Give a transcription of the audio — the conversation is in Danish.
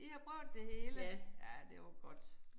I har prøvet det hele. Ja det var godt